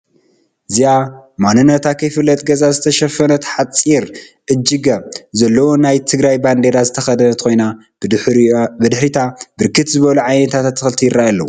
እዚኣ ማንነታ ከይፍለጥ ገፃ ዝተሸፈነት ሓፂር እጅገ ዘለዎ ናይ ትግራይ ባንዴራ ዝተከደነት ኮይና ብድሕሪታ ብርክት ዝበሉ ዓበይቲ አትክልቲ ይረአዩ አለዉ፡፡